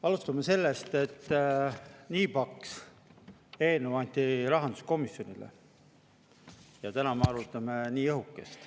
Alustame sellest, et nii paks eelnõu anti rahanduskomisjonile ja täna me arutame nii õhukest.